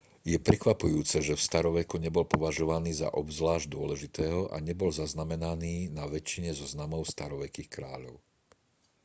je prekvapujúce že v staroveku nebol považovaný za obzvlášť dôležitého a nebol zaznamenaný na väčšine zoznamov starovekých kráľov